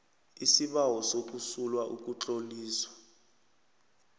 isibawo sokusula ukutloliswa